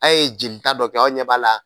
A' ye jelita dɔ kɛ aw ɲɛ b'a la